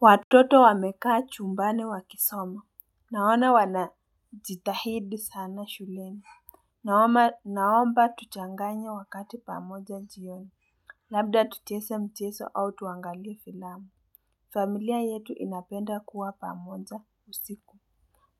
Watoto wamekaa chumbani wakisoma. Naona wanajitahidi sana shuleni. Naomba tuchanganye wakati pamoja jioni. Labda tuchese mcheso au tuangalie filamu. Familia yetu inapenda kuwa pamoja usiku.